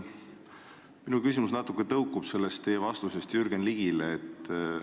Minu küsimus tõukub natukene teie vastusest Jürgen Ligile.